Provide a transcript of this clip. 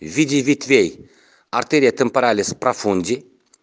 в виде ветвей артерия темпералис профонди